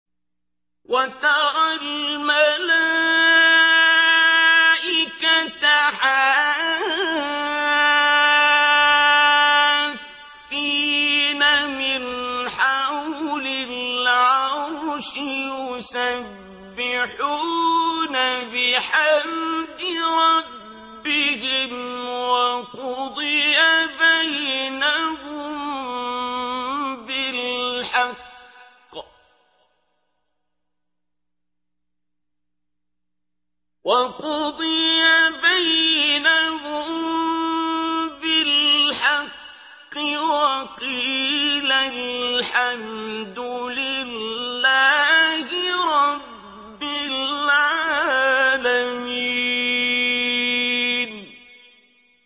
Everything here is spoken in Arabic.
وَتَرَى الْمَلَائِكَةَ حَافِّينَ مِنْ حَوْلِ الْعَرْشِ يُسَبِّحُونَ بِحَمْدِ رَبِّهِمْ ۖ وَقُضِيَ بَيْنَهُم بِالْحَقِّ وَقِيلَ الْحَمْدُ لِلَّهِ رَبِّ الْعَالَمِينَ